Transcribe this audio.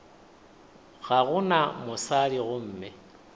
ga go na mosadi gomme